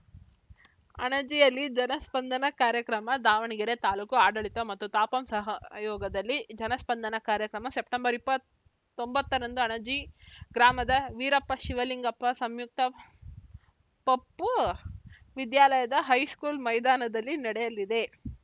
ಅಣಜಿಯಲ್ಲಿ ಜನಸ್ಪಂದನ ಕಾರ್ಯಕ್ರಮ ದಾವಣಗೆರೆ ತಾಲೂಕು ಆಡಳಿತ ಮತ್ತು ತಾಪಂ ಸಹಯೋಗದಲ್ಲಿ ಜನಸ್ಪಂದನ ಕಾರ್ಯಕ್ರಮ ಸೆಪ್ಟೆಂಬರ್ ಇಪ್ಪತ್ತ್ ಒಂಬತ್ತರಂದು ಅಣಜಿ ಗ್ರಾಮದ ವೀರಪ್ಪ ಶಿವಲಿಂಗಪ್ಪ ಸಂಯುಕ್ತ ಪಪೂ ವಿದ್ಯಾಲಯದ ಹೈಸ್ಕೂಲ್‌ ಮೈದಾನದಲ್ಲಿ ನಡೆಯಲಿದೆ